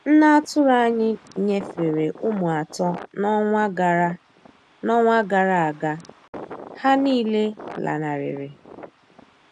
Nne atụrụ anyị nyefere ụmụ atọ n'ọnwa gara n'ọnwa gara aga, ha niile lanarịrị.